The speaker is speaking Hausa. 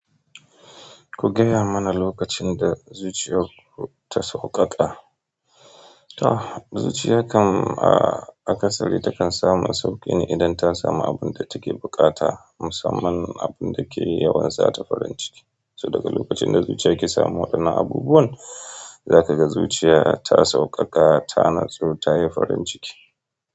Ku gaya mana lokacin da zuciyar ku ta sauƙaƙa? To zuciya kan a kasali takan samu sauƙi ne idan ta samu abin da take bukata, musamman abin da ke yawan sata farin ciki. So daga lokacin da zuciya ke samun waɗannan abubuwan, zaka ga zuciya ta sauƙaƙa, ta natsu, ta yi farin ciki.